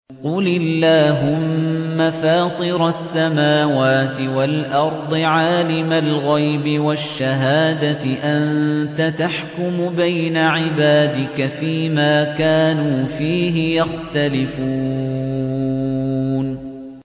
قُلِ اللَّهُمَّ فَاطِرَ السَّمَاوَاتِ وَالْأَرْضِ عَالِمَ الْغَيْبِ وَالشَّهَادَةِ أَنتَ تَحْكُمُ بَيْنَ عِبَادِكَ فِي مَا كَانُوا فِيهِ يَخْتَلِفُونَ